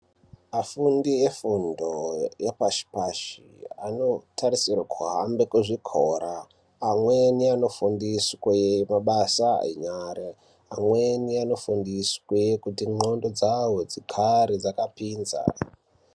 Afundi efundo yepashi-pashi anotarisirwa kuhambe kuzvikora amweni anofundiswe mabasa enyara, amweni anofundiswe kuti ndxondo dzawo dzigare dzakapinza.